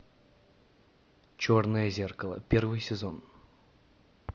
черное зеркало первый сезон